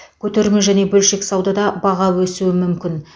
көтерме және бөлшек саудада баға өсуі мүмкін